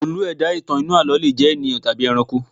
Olú - ẹ̀dá inú àlọ́ le jẹ ènìyàn tàbí ẹranko